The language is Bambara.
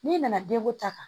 N'i nana den ko ta kan